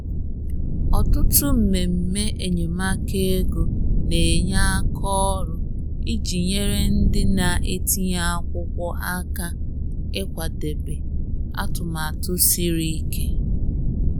Ọtụtụ mmemme enyemaka ego na-enye aka ọrụ iji nyere ndị na-etinye akwụkwọ aka ịkwadebe atụmatụ siri ike.